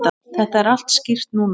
Þetta er allt skýrt núna.